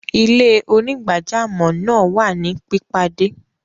Ilẹ̀-onígbàjàmọ́ naa wà ni pipadẹ.